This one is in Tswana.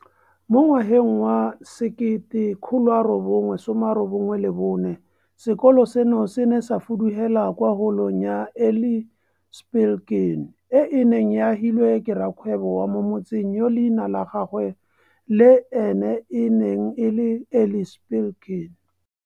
Mo ngwageng wa 1994, sekolo seno se ne sa fudugela kwa Holong ya Eli Spilkin, e e neng e agilwe ke rrakgwebo wa mo motseng yo leina la gagwe le ene e neng e le Eli Spilkin.